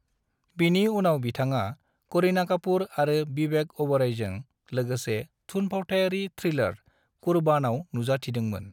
बिनि उनाव बिथाङा करीना कपूर आरो विवेक ओबेरॉयजों लोगसे थुनफावथायारि थ्रिलर 'कुर्बान' आव नुजाथिदों मोन ।